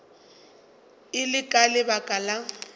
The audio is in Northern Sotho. e le ka lebaka la